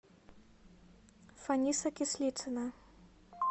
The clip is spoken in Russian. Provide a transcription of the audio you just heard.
фаниса кислицына